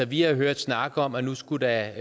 vi har hørt snak om at nu skulle der